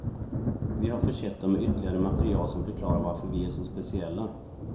Vi har försett dem med ytterligare material som förklarar varför vi är så speciella.